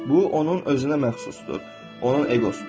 Bu onun özünə məxsusdur, onun eqosudur.